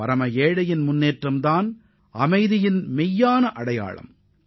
பரம ஏழையின் வளர்ச்சியே அமைதிக்கான உண்மையான எடுத்துக்காட்டாக அமையும்